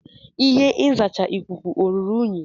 Ihe nzacha ikuku ọ ruru unyi?